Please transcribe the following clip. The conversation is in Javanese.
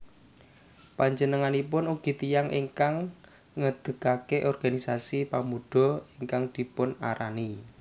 Panjenenganipun ugi tiyang ingkang ngedekke organisasi Pemuda ingkang dipunarani